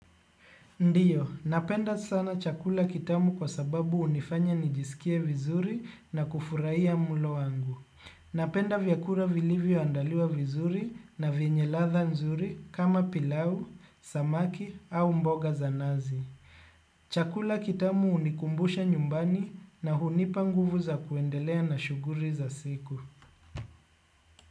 Ndiyo, napenda sana chakula kitamu kwa sababu hunifanya nijisikie vizuri na kufurahia mlo wangu. Napenda vyakula vilivyo andaliwa vizuri na vyenye ladha nzuri kama pilau, samaki au mboga za nazi. Chakula kitamu hunikumbusha nyumbani na hunipa nguvu za kuendelea na shughuli za siku.